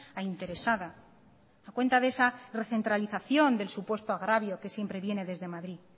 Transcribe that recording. a interesada a cuenta de esa recentralización del supuesto agravio que siempre viene desde madrid